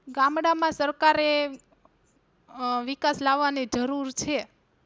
ગામડાં માં સરકારે અ વિકાસ લાવાની જરૂર છે.